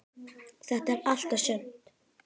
Þetta er allt og sumt